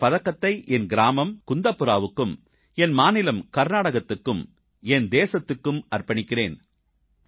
இந்தப் பதக்கத்தை என் கிராமம் குந்தாபுராவுக்கும் என் மாநிலம் கர்நாடகத்துக்கும் என் தேசத்துக்கும் அர்ப்பணிக்கிறேன்